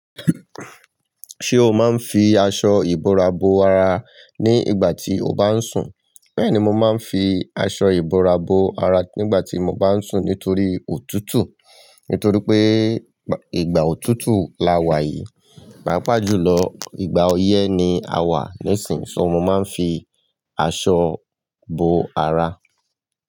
Ṣe o máa ń fi aṣọ ìbora bo ara ní ìgbà tí o bá ń sùn? Bẹ́ẹ̀ ni mo máa ń fi aṣọ ìbora bo ara nígbà tí mo bá ń sùn nítorí òtútù. Nítorí pé ìgbà òtútù la wà yìí, pàápàá jùlọ ìgbà ọyẹ́ ni a wà lẹ́sìn ín, so mo máa ń fi aṣọ bo ara.